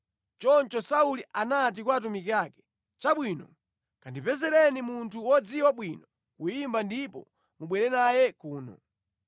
Choncho Sauli anati kwa atumiki ake, “Chabwino, kandipezereni munthu wodziwa bwino kuyimba ndipo mubwere naye kuno.”